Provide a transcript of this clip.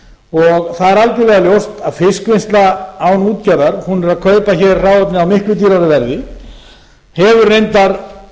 er algerlega ljóst að fiskvinnsla án útgerðar er að kaupa hér hráefnið á miklu dýrara verði hefur reyndar